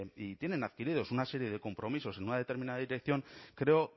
y tienen adquiridos una serie de compromisos en una determinada dirección creo